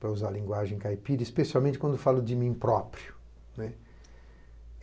para usar a linguagem caipira, especialmente quando falo de mim próprio.